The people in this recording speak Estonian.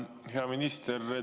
Hea minister!